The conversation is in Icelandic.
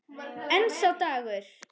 En sá dagur!